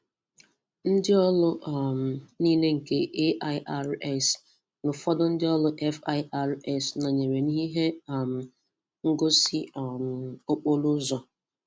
Ndị ọrụ um niile nke AIRS na ụfọdụ ndị ọrụ FIRS sonyere na ihe um ngosi um okporo ụzọ.